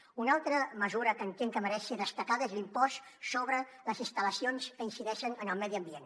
una altra mesura que entenc que mereix ser destacada és l’impost sobre les instal·lacions que incideixen en el medi ambient